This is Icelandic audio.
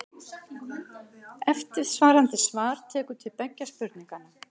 Eftirfarandi svar tekur til beggja spurninganna.